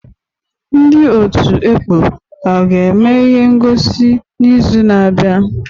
Ndị ọtụ̀ ekpọ ha ga-eme ihe ngọsi n'izu na-abịa?